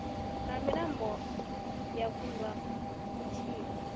na mbila yo kundwa mutshila